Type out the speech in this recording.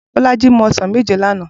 Bolaji mú òsán méjé làná